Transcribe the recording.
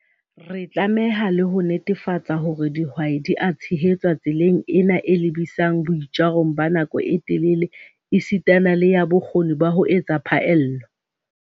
Re tlameha le ho netefatsa hore dihwai di a tshehetswa tseleng ena e lebisang boitjarong ba nako e telele esita le ya bokgoni ba ho etsa phaello.